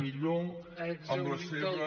millor amb la seva